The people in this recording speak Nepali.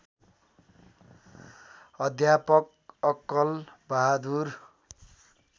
अध्यापक अक्कल बहादुर